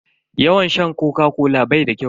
Yawan sha Koka-kola bai da kyau.